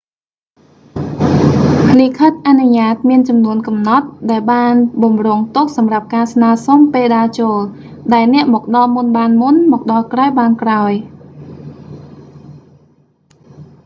លិខិតអនុញ្ញាតមានចំនួនកំណត់ ដែលបានបម្រុងទុកសម្រាប់ការស្នើសុំពេលដើរចូល ដែលអ្នកមកដល់មុនបានមុន មកដល់ក្រោយបានក្រោយ